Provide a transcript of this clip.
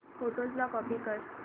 photos ला copy कर